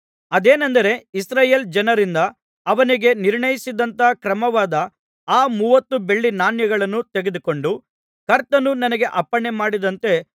ಅದೇನೆಂದರೆ ಇಸ್ರಾಯೇಲ್ ಜನರಿಂದ ಅವನಿಗೆ ನಿರ್ಣಯಿಸಿದಂಥ ಕ್ರಯವಾದ ಆ ಮೂವತ್ತು ಬೆಳ್ಳಿ ನಾಣ್ಯಗಳನ್ನು ತೆಗೆದುಕೊಂಡು ಕರ್ತನು ನನಗೆ ಅಪ್ಪಣೆಮಾಡಿದಂತೆ